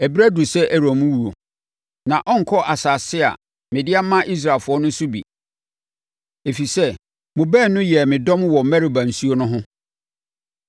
“Ɛberɛ aduru sɛ Aaron wuo, na ɔrenkɔ asase a mede ama Israelfoɔ no so bi, ɛfiri sɛ, mo baanu yɛɛ me dɔm wɔ Meriba nsuo no ho.